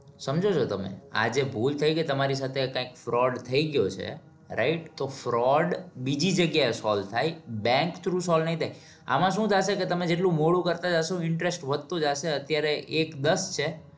સમજો છો તમે? આજે ભૂલ થઈ ગઈ તમારી સાથે કંઈક fraud થઇ ગયો છે. right? તો fraud બીજી જગ્યા એ solve થાય bank through solve નઈ થાય. આમાં શું થશે તમે જેટલું મોડું કરતા જાશે એટલું interest વધતો જાશે અત્યારે એક દસ છે.